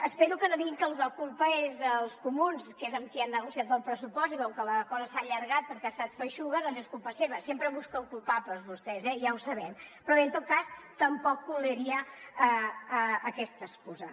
espero que no diguin que la culpa és dels comuns que és amb qui han negociat el pressupost i com que la cosa s’ha allargat perquè ha estat feixuga doncs és culpa seva sempre busquen culpables vostès eh ja ho sabem però bé en tot cas tampoc colaria aquesta excusa